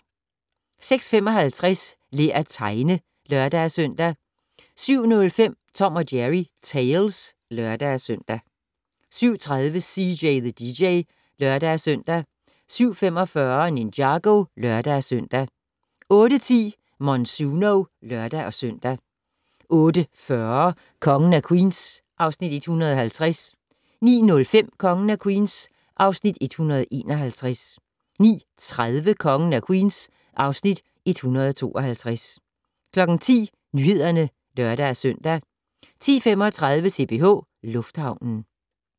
06:55: Lær at tegne (lør-søn) 07:05: Tom & Jerry Tales (lør-søn) 07:30: CJ the DJ (lør-søn) 07:45: Ninjago (lør-søn) 08:10: Monsuno (lør-søn) 08:40: Kongen af Queens (Afs. 150) 09:05: Kongen af Queens (Afs. 151) 09:30: Kongen af Queens (Afs. 152) 10:00: Nyhederne (lør-søn) 10:35: CPH Lufthavnen